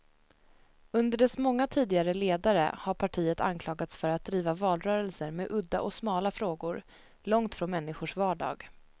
Under dess många tidigare ledare har partiet anklagats för att driva valrörelser med udda och smala frågor, långt från människors vardag.